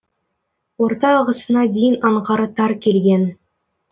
орта ағысына дейін аңғары тар келген